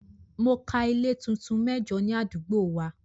Mo ka ilé tuntun mẹ́jo ní àdúgbò wa.